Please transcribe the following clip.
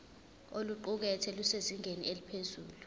oluqukethwe lusezingeni eliphezulu